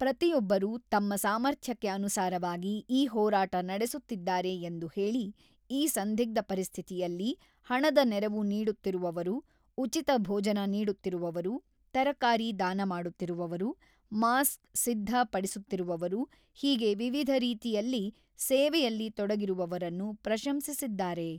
ಪ್ರತಿಯೊಬ್ಬರು ತಮ್ಮ ಸಾಮರ್ಥ್ಯಕ್ಕೆ ಅನುಸಾರವಾಗಿ ಈ ಹೋರಾಟ ನಡೆಸುತ್ತಿದ್ದಾರೆ ಎಂದು ಹೇಳಿ ಈ ಸಂದಿಗ್ಧ ಪರಿಸ್ಥಿತಿಯಲ್ಲಿ ಹಣದ ನೆರವು ನೀಡುತ್ತಿರುವವರು, ಉಚಿತ ಭೋಜನ ನೀಡುತ್ತಿರುವವರು, ತರಕಾರಿ ದಾನ ಮಾಡುತ್ತಿರುವವರು, ಮಾಸ್ ಸಿದ್ಧ ಪಡಿಸುತ್ತಿರುವವರು ಹೀಗೆ ವಿವಿಧ ರೀತಿಯಲ್ಲಿ ಸೇವೆಯಲ್ಲಿ ತೊಡಗಿರುವವರನ್ನು ಪ್ರಶಂಸಿಸಿದ್ದಾರೆ.